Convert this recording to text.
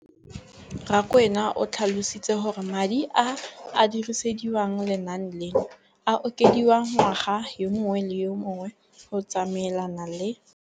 Rakwena o tlhalositse gore madi a a dirisediwang lenaane leno a okediwa ngwaga yo mongwe le yo mongwe go tsamaelana le